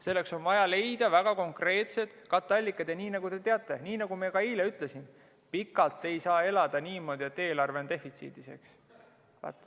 Selleks on vaja leida väga konkreetsed katteallikad ja nii nagu te teate, nii nagu ma ka eile ütlesin, pikalt ei saa elada niimoodi, et eelarve on defitsiidis.